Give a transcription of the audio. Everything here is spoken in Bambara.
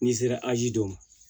N'i sera a ji don